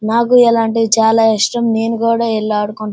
మాకు ఇలాంటివి చాలా ఇష్టం నేను కూడా ఎల్లి ఆడుకుంట --